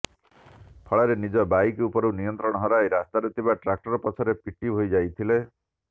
ଫଳରେ ନିଜ ବାଇକ ଉପରୁ ନିୟନ୍ତ୍ରଣ ହରାଇ ରାସ୍ତାରେ ଥିବା ଟ୍ରାକ୍ଟର ପଛରେ ପିଟି ହୋଇଯାଇଥିଲେ